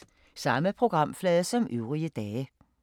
Samme programflade som øvrige dage